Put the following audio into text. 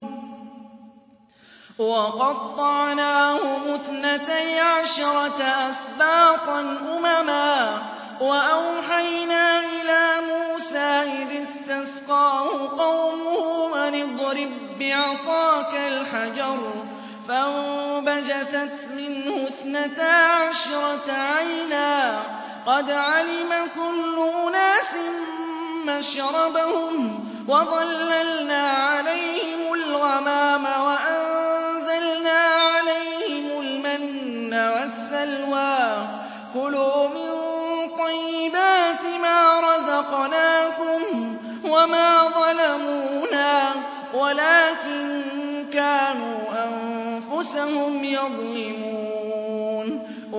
وَقَطَّعْنَاهُمُ اثْنَتَيْ عَشْرَةَ أَسْبَاطًا أُمَمًا ۚ وَأَوْحَيْنَا إِلَىٰ مُوسَىٰ إِذِ اسْتَسْقَاهُ قَوْمُهُ أَنِ اضْرِب بِّعَصَاكَ الْحَجَرَ ۖ فَانبَجَسَتْ مِنْهُ اثْنَتَا عَشْرَةَ عَيْنًا ۖ قَدْ عَلِمَ كُلُّ أُنَاسٍ مَّشْرَبَهُمْ ۚ وَظَلَّلْنَا عَلَيْهِمُ الْغَمَامَ وَأَنزَلْنَا عَلَيْهِمُ الْمَنَّ وَالسَّلْوَىٰ ۖ كُلُوا مِن طَيِّبَاتِ مَا رَزَقْنَاكُمْ ۚ وَمَا ظَلَمُونَا وَلَٰكِن كَانُوا أَنفُسَهُمْ يَظْلِمُونَ